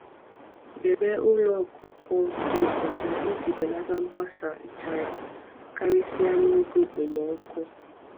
Debe ụlọ ọkụkọ dị ọcha iji belata mgbasa nchara, karịsịa n’oge okpomọkụ.